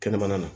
Kɛnɛmana na